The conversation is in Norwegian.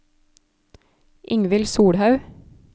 Ingvild Solhaug